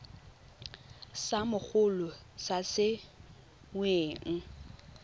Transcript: sa mogolo sa se weng